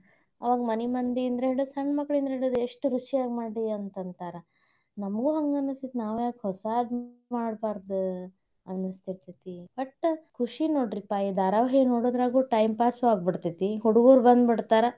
ಆ ಮನಿ ಮಂದಿಯಿಂದ ಹಿಡ್ದ, ಸಣ್ ಮಕ್ಳಿಂದ ಹಿಡ್ದ ಎಷ್ಟ್ ರುಚಿಯಾಗಿ ಮಾಡಿ ಅಂತ ಅಂತಾರ, ನಮ್ಗೂ ಹಂಗ ಅನಸ್ತೇತಿ. ನಾವ್ಯಾಕ್ ಹೊಸಾದ್ ಮಾಡ್ಬಾರ್ದ್ ಅನಸ್ತಿರತ್ತೇತಿ. ಒಟ್ ಖುಷಿ ನೋಡ್ರಿಪಾ, ಈ ಧಾರಾವಾಹಿ ನೋಡೋದ್ರಾಗೂ time pass ಉ ಆಗ್ಬಿಡ್ತೇತಿ, ಹುಡ್ಗ್ರುರು ಬಂದ್ ಬಿಡ್ತಾರ.